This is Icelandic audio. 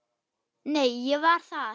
Nei, ég var þar